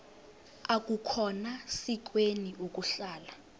akukhona sikweni ukuhlala